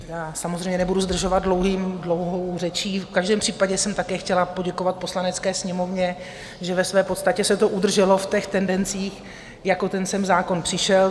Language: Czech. Já samozřejmě nebudu zdržovat dlouhou řečí, v každém případě jsem také chtěla poděkovat Poslanecké sněmovně, že ve své podstatě se to udrželo v těch tendencích, jak sem ten zákon přišel.